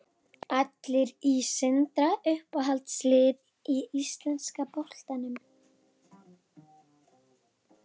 Allar í Sindra Uppáhalds lið í enska boltanum?